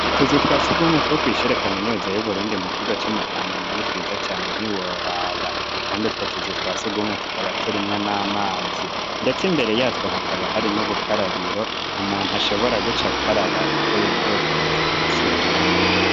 Utuzu twa surwumwe, two kw'ishure kaminuza, y'Uburundi, mu kigo co mu Kamenge, ni twiza cane ntiworaba; kandi utwo tuzu twa surwumwe, tukaba turimwo n'amazi; ndetse imbere yatwo, hakaba, hari n'ubukarabiro; umuntu, ashobora guca akaraba, avuye muri utwo tuzu twa surwumwe.